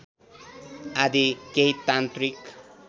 आदि केही तान्त्रिक